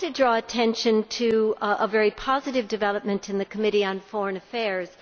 I wanted to draw attention to a very positive development in the Committee on Foreign Affairs.